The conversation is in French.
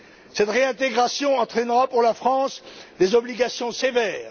Cette réintégration entraînera pour la France des obligations sévères.